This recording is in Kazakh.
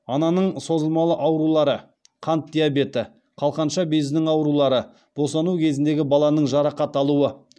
ананың созылмалы аурулары қант диабеті қалқанша безінің аурулары босану кезіндегі баланың жарақат алуы